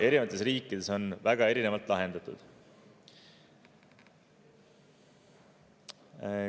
Erinevates riikides on see väga erinevalt lahendatud.